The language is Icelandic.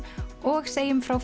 og segjum frá